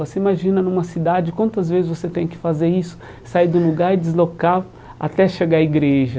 Você imagina numa cidade quantas vezes você tem que fazer isso, sair do lugar e deslocar até chegar à igreja.